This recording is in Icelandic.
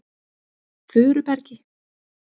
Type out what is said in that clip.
Furubergi